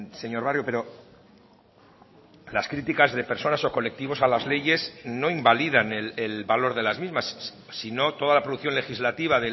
señor barrio pero las críticas de personas o colectivos a las leyes no invalidan el valor de las mismas si no toda la producción legislativa